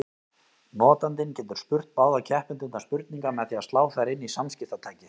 Notandinn getur spurt báða keppendurna spurninga með því að slá þær inn í samskiptatækið.